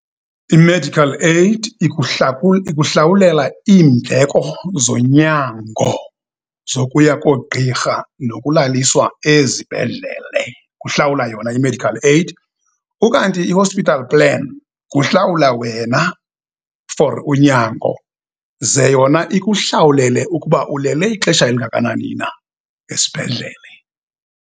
I-medical aid ikuhlawulela iindleko zonyango zokuya koogqirha nokulaliswa ezibhedlele, kuhlawula yona i-medical aid. Ukanti i-hospital plan, kuhlawula wena fori unyango, ze yona ikuhlawulele ukuba ulele ixesha elingakanani na esibhedlele.